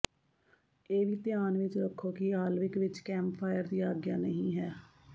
ਇਹ ਵੀ ਧਿਆਨ ਵਿਚ ਰੱਖੋ ਕਿ ਆਲਵਿਕ ਵਿਚ ਕੈਂਪਫਾਇਰ ਦੀ ਆਗਿਆ ਨਹੀਂ ਹੈ